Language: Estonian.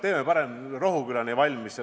Teeme parem raudtee Rohukülani valmis.